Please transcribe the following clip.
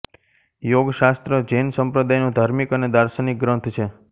યોગશાસ્ત્ર જૈન સંપ્રદાયનો ધાર્મિક અને દાર્શનિક ગ્રંથ છે